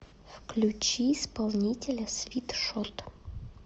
включи исполнителя свит шот